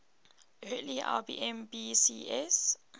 early ibm pcs